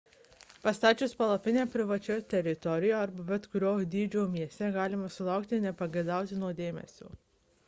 pastačius palapinę privačioje teritorijoje arba bet kurio dydžio mieste galima sulaukti nepageidautino dėmesio